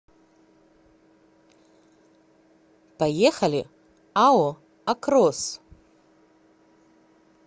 поехали ао акрос